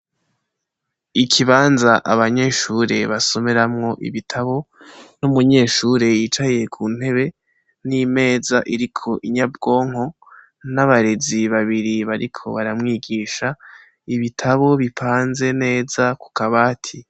Ikibanza abanyeshure basomeramwo ibitabo n‘ umunyeshure yicaye ku ntebe, n‘imeza iriko inyabwonko, n‘ abarezi babiri bariko baramwigisha ,ibitabo bipanze neza ku kabati.